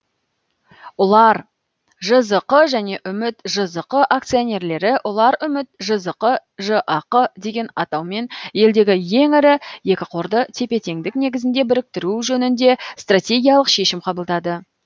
ұлар жзқ және үміт жзқ акционерлері ұларүміт жзқ жақ деген атаумен елдегі ең ірі екі қорды тепе теңдік негізінде біріктіру жөнінде стратегиялық шешім қабылдады